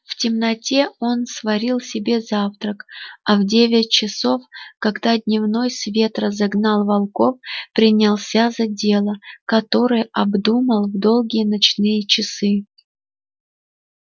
в темноте он сварил себе завтрак а в девять часов когда дневной свет разогнал волков принялся за дело которое обдумал в долгие ночные часы